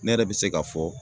Ne yɛrɛ bɛ se k'a fɔ